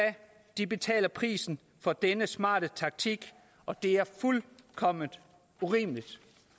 de betaler prisen for denne smarte taktik og det er fuldkommen urimeligt